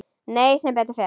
Nei, sem betur fer.